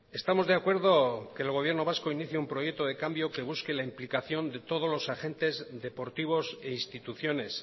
estamos de acuerdo que el gobierno vasco inicie un proyecto de cambio que busque la implicación de todos los agentes deportivos e instituciones